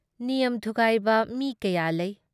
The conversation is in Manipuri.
ꯅꯤꯌꯝ ꯊꯨꯒꯥꯏꯕ ꯃꯤ ꯀꯌꯥ ꯂꯩ ꯫